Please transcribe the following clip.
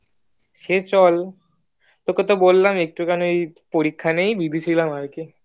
সে চল তোকে তো বললাম একটু খানি পরীক্ষা না আর কি যেতে চাইছিলাম আরকি